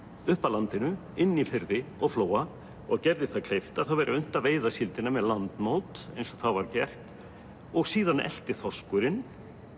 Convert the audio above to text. upp að landinu inn í firði og flóa og gerði það kleift að það væri unnt að veiða síldina með eins og þá var gert síðan elti þorskurinn